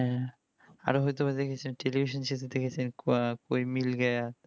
আর হয়তো দেখছেন television এই যেহুতু দেখেছেন koi mil gaya